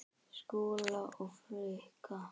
Skúla og Frikka?